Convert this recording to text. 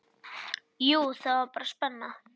Jú, það var spenna.